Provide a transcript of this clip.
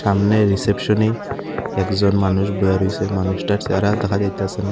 সামনের রিসেপশনে একজন মানুষ বইয়া রয়েসেন সে মানুষটার সেহারা দেখা যাইতাসে না।